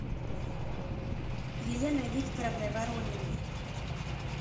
еленой викторовной ворониной